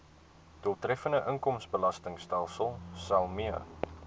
doeltreffende inkomstebelastingstelsel mee